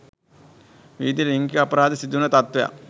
විවිධ ලිංගික අපරාධ සිදුවෙන තත්ත්වයක්.